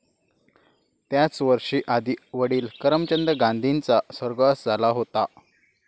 त्याच वर्षी आधी वडिल करमचंद गांधींचा स्वर्गवास झाला होता.